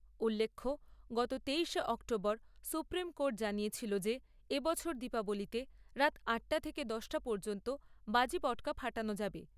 উল্লেখ্য, গত তেইশে অক্টোবর সুপ্রিম কোর্ট জানিয়েছিল যে এ বছর দীপাবলিতে রাত আটটা থেকে দশটা পর্যন্ত বাজি পটকা ফাটানো যাবে।